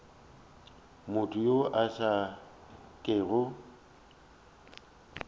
motho yo a sa kego